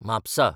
Mapusa